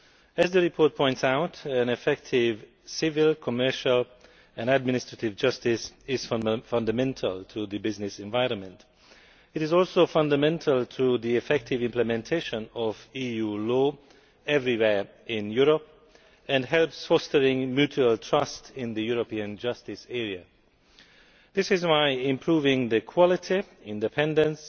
As the report points out, effective civil, commercial and administrative justice is fundamental to the business environment. It is also fundamental to the effective implementation of EU law everywhere in Europe and helps foster mutual trust in the European justice area. This is why improving the quality, independence